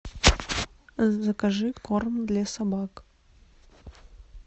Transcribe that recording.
закажи корм для собак